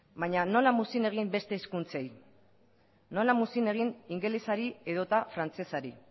baina nola muzin egin beste hizkuntzei nola muzin egin ingelesari edota frantsesari